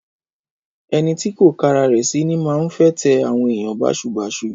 Ẹnítì kọ kàràrẹ sí, ni màhún fẹ tẹ awon ẹniyàn bàsúbasú.